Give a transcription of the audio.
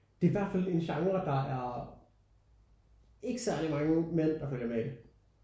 Det er i hvert fald en genre der er ikke særlig mænd der følger med i